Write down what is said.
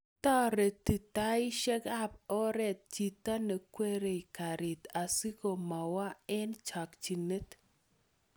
toreti taishekab oret chito neikwerie karit asigo mawa eng chokchinet